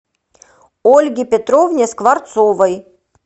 ольге петровне скворцовой